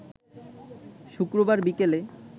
শুক্রবার বিকেলে